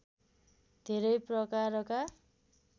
धेरै प्रकारका